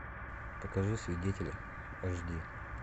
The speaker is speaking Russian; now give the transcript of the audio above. покажи свидетели аш ди